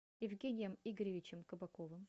евгением игоревичем кабаковым